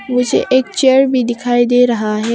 नीचे एक चेयर भी दिखाई दे रहा है।